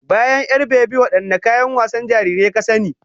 Bayan 'yar-bebi, wadanne kayan wasan jarirai ka sani?